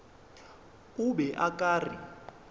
o be o ka re